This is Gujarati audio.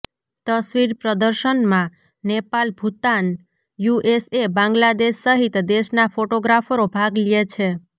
તસ્વીર પ્રદર્શનમાં નેપાલ ભુટાન યુએસએ બાંગલાદેશ સહિત દેશના ફોટોગ્રાફરો ભાગ લ્યે છે